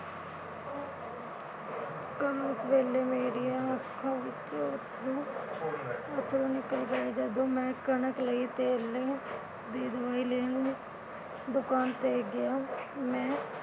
ਵੇਲੇ ਮੇਰੀਆਂ ਅੱਖਾਂ ਵਿਚੋਂ ਅੱਥਰੂ ਅੱਥਰੂ ਨਿਕਲ ਗਏ। ਜਦੋ ਮੈਂ ਕਣਕ ਲਈ ਤੇਲ ਲਈ ਦੀ ਦਵਾਈ ਲੈਣ ਦੁਕਾਨ ਤੇ ਗਿਆ ਮੈਂ